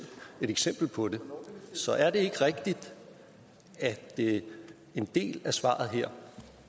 et eksempel på det så er det ikke rigtigt at en del af svaret her